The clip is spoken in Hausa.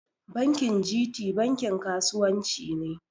Bankin G.T bankin kasuwan ci ne